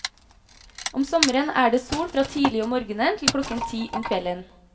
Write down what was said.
Om sommeren er det sol fra tidlig om morgenen til klokken ti om kvelden.